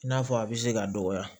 I n'a fɔ a bɛ se ka dɔgɔya